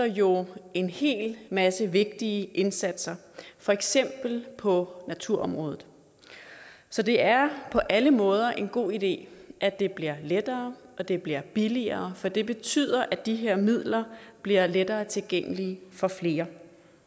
jo en hel masse vigtige indsatser for eksempel på naturområdet så det er på alle måder en god idé at det bliver lettere og at det bliver billigere for det betyder at de her midler bliver lettere tilgængelige for flere